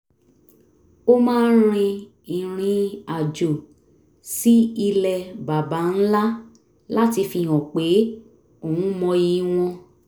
ó máa ń rin irin-àjò sí ilẹ̀ baba ńlá láti fihan pé òun mọyì wọn